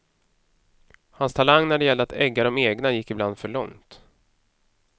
Hans talang när det gällde att egga dom egna gick ibland för långt.